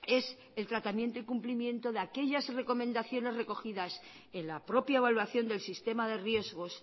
es el tratamiento y cumplimiento de aquellas recomendaciones recogidas en la propia evaluación del sistema de riesgos